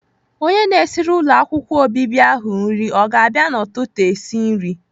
Onye na-esiri ụlọ akwụkwọ obibi ahụ nri ọ ga-abịa n'ụtụtụ esi nri?